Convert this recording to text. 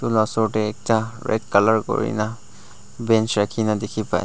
etu laga osor te ekta red colour kori kina bench rakhi kina dekhi pai ase.